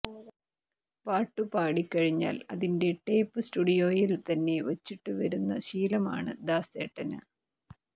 പാട്ടു പാടിക്കഴിഞ്ഞാൽ അതിന്റെ ടേപ്പ് സ്റ്റുഡിയോയിൽ തന്നെ വച്ചിട്ടു വരുന്ന ശീലമാണ് ദാസേട്ടന്